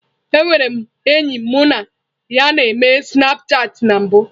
Enwere m enyi mụ na ya n'eme snapchatị na mbụ.